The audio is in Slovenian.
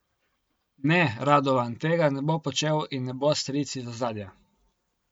Ne, Radovan tega ne bo počel in ne bo stric iz ozadja.